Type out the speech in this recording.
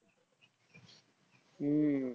हम्म